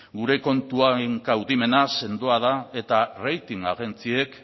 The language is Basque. gure kontuen kaudimena sendoa da eta rating agentziek